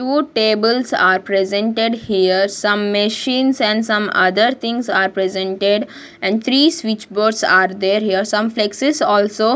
Two tables are presented here some machines and some other things are presented and three switch boards are there here some flexes also --